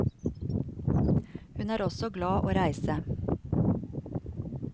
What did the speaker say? Hun er også glad å reise.